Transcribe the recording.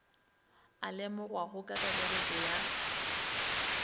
a lemogwago ka kakaretšo ya